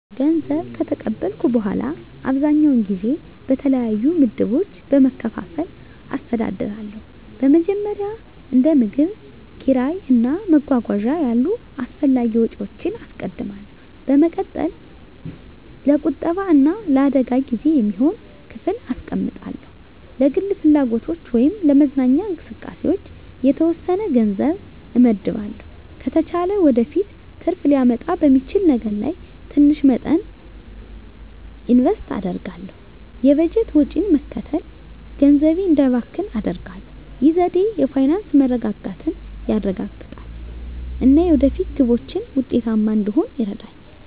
ገንዘብ ከተቀበልኩ በኋላ, አብዛኛውን ጊዜ በተለያዩ ምድቦች በመከፋፈል አስተዳድራለሁ. በመጀመሪያ፣ እንደ ምግብ፣ ኪራይ እና መጓጓዣ ያሉ አስፈላጊ ወጪዎችን አስቀድማለሁ። በመቀጠል፣ ለቁጠባ እና ለአደጋ ጊዜ የሚሆን ክፍል አስቀምጣለሁ። ለግል ፍላጎቶች ወይም ለመዝናኛ እንቅስቃሴዎች የተወሰነ ገንዘብ እመድባለሁ። ከተቻለ ወደፊት ትርፍ ሊያመጣ በሚችል ነገር ላይ ትንሽ መጠን ኢንቨስት አደርጋለሁ። የበጀት ወጪን መከተል ገንዘቤ እንዳይባክን አደርጋሁ። ይህ ዘዴ የፋይናንስ መረጋጋትን ያረጋግጣል እና የወደፊት ግቦችን ውጤታማ እንድሆን ይረዳኛል.